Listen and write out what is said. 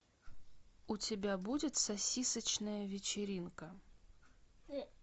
у тебя будет сосисочная вечеринка